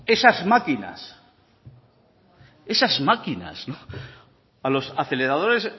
esas máquinas esas máquinas a los aceleradores